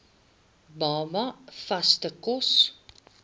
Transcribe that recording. baba vaste kos